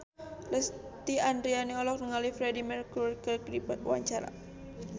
Lesti Andryani olohok ningali Freedie Mercury keur diwawancara